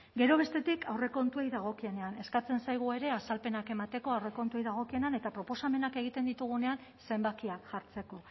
gero bestetik aurrekontuei dagokienean eskatzen zaigu ere azalpenak emateko aurrekontuei dagokienean eta proposamenak egiten ditugunean zenbakiak jartzeko